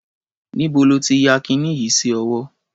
Níbo ló ti ya kiní yìí sí ọwọ́?